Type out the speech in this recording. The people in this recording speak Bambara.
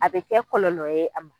A be kɛ kɔlɔlɔ ye a ma.